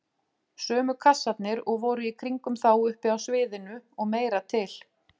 Sömu kassarnir og voru í kringum þá uppi á sviðinu- og meira til!